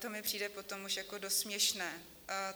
To mi přijde potom už jako dost směšné.